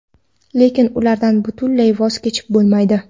Lekin ulardan butunlay voz kechib bo‘lmaydi.